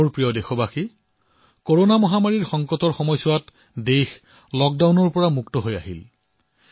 মোৰ মৰমৰ দেশবাসীসকল কৰোনাৰ সংকট কালত দেশ লকডাউনৰ পৰা বাহিৰলৈ ওলাইছে